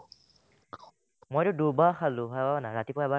মইটো দুবাৰ খালো ভাবা না ৰাতিপুৱা এবাৰ